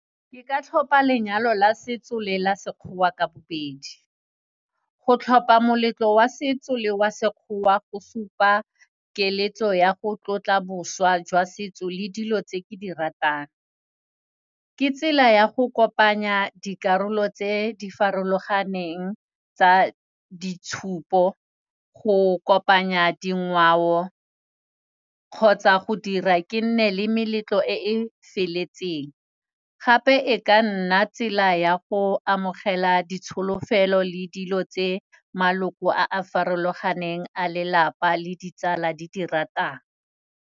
Ke ka tlhopa lenyalo la setso le la Sekgowa ka bobedi. Go tlhopa moletlo wa setso le wa Sekgowa go supa keletso ya go tlotla boswa jwa setso le dilo tse ke di ratang. Ke tsela ya go kopanya dikarolo tse di farologaneng tsa ditshupo go kopanya dingwao kgotsa go dira ke nne le meletlo e feletseng. Gape e ka nna tsela ya go amogela ditsholofelo le dilo tse maloko a a farologaneng a lelapa le ditsala di di ratang.